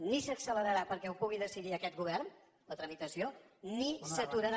ni s’accelerà perquè ho pugui decidir aquest govern la tramitació ni s’aturarà